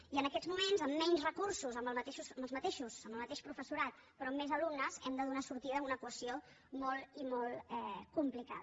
i en aquests moments amb menys recursos amb el mateix professorat però amb més alumnes hem de donar sortida a una equació molt i molt complicada